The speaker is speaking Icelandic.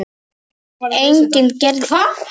Enginn gerði neitt með það.